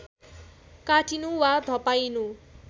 काटिनु वा धपाइनु